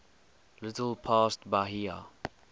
little past bahia